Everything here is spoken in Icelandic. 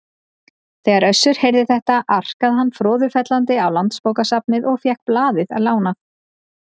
Þegar Össur heyrði þetta arkaði hann froðufellandi á Landsbókasafnið og fékk blaðið lánað.